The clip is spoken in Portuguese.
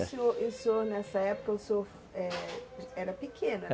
E o senhor, o senhor nessa época, o senhor, eh, era pequeno?